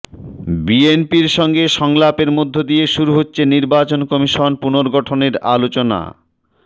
বিএনপির সঙ্গে সংলাপের মধ্য দিয়ে শুরু হচ্ছে নির্বাচন কমিশন পুনর্গঠনের আলোচনা